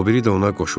O biri də ona qoşuldu.